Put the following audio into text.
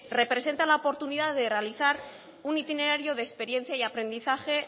representa la oportunidad de realizar un itinerario de experiencia y aprendizaje